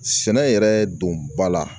Sɛnɛ yɛrɛ don ba la